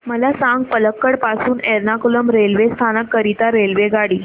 मला सांग पलक्कड पासून एर्नाकुलम रेल्वे स्थानक करीता रेल्वेगाडी